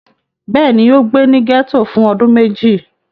Bẹ́ẹ̀ ni, ó gbé ní gẹ́tò fún ọdún méjì.